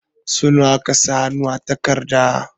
Sau nawa aka sa hannu a takardar?